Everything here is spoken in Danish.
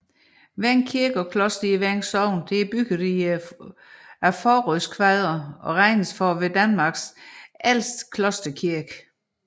Veng Kirke og Kloster i Veng Sogn er bygget af frådstenskvadre og regnes for at være Danmarks ældste klosterkirke